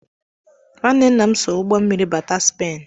Nwanne nna m so ụgbọ mmiri bátá Spain.